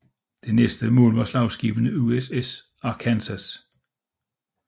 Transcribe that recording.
Det næste mål var slagskibet USS Arkansas